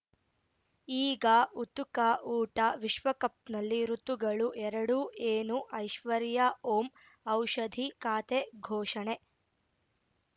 ಈಗ ಉತುಕಾ ಊಟ ವಿಶ್ವಕಪ್‌ನಲ್ಲಿ ಋತುಗಳು ಎರಡು ಏನು ಐಶ್ವರ್ಯಾ ಓಂ ಔಷಧಿ ಖಾತೆ ಘೋಷಣೆ